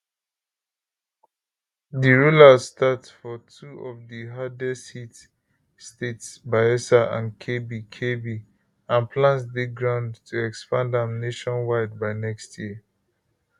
di rollout start for two of di hardesthit states bayelsa and kebbi kebbi and plans dey ground to expand am nationwide by next year